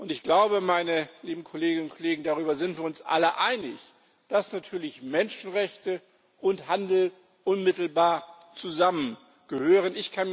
Ich glaube, meine lieben Kolleginnen und Kollegen, darüber sind wir uns alle einig, dass natürlich Menschenrechte und Handel unmittelbar zusammengehören.